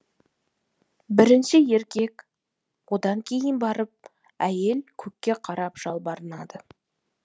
бірінші еркек одан кейін барып әйел көкке қарап жалбарынады